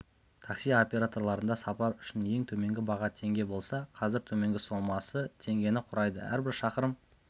такси операторларында сапар үшін ең төменгі баға теңге болса қазір төменгі сомасы теңгені құрайды әрбір шақырым